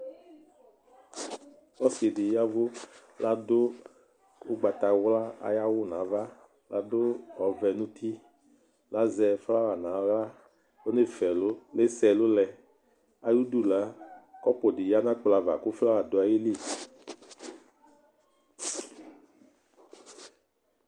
Ɔsɩdɩ yaɛvʋ ,ladʋ ʋgbatawla ay'awʋ n'ava ,kadʋ ɔvɛ n'uti Kazɛ flawa n'aɣla ,ɔnasɛ'ɛlʋ ,asɛ ɛlʋ lɛ Ayidu la ,kɔpʋ dɩ lɛ n'ɛkplɔ ava kʋ ,flawa dʋ ayili